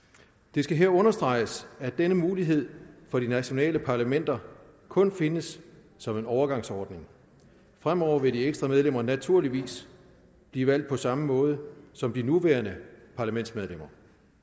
det skal her understreges at denne mulighed for de nationale parlamenter kun findes som en overgangsordning fremover vil de ekstra medlemmer naturligvis blive valgt på samme måde som de nuværende parlamentsmedlemmer